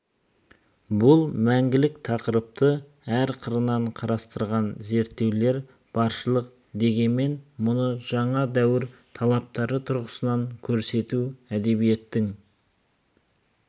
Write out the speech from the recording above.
бұл мәңгілік тақырыпты әр қырынан қарастырған зерттеулер баршылық дегенмен мұны жаңа дәуір талаптары тұрғысынан көрсету әдебиеттің